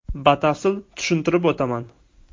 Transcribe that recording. Batafsil tushuntirib o‘taman.